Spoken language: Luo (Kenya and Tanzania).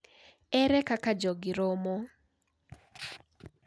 Ere kaka jogi romo?